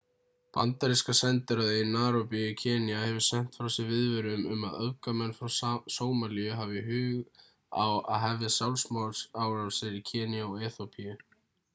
bandaríska sendiráðið í naíróbí í kenýa hefur sent frá sér viðvörun um að öfgamenn frá sómalíu hafi hug á að hefja sjálfsmorðsárásir í kenýa og eþíópíu